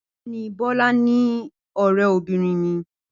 Bẹẹni, Bola ni ọrẹbinrin mi.